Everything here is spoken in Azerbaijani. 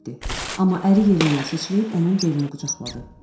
Amma əri yerindən sıçrayıb onun belini qucaqladı.